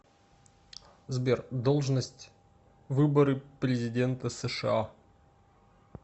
сбер должность выборы президента сша